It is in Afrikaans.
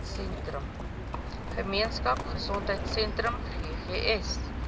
gemeenskap gesondheidsentrum ggs